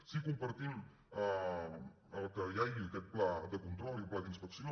sí que compartim que hi hagi aquest pla de control i el pla d’inspecció